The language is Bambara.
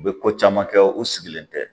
U bɛ ko caman kɛ u sigilen tɛ